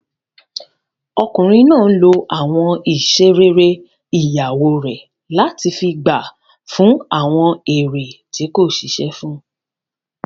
Ọkùnrin náà n lo àwọn iṣẹ́ rere ìyàwó rẹ̀ láti fi gba fún àwọn èrè tí kò ṣiṣẹ́ fún